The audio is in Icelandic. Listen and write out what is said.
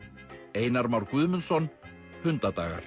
Einar Már Guðmundsson